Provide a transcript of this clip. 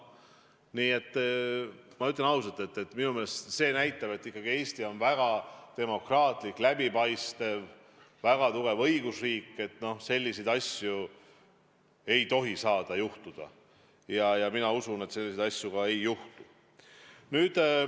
Nii et ma ütlen ausalt: minu meelest see näitab, et Eesti on väga demokraatlik, läbipaistev, väga tugev õigusriik, kus selliseid asju ei tohi saada juhtuda ja mina usun, et selliseid asju ka ei juhtu.